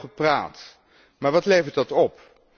wordt nogal veel gepraat. Maar wat levert dat op?